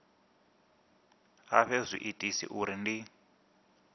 a fhe zwiitisi uri ndi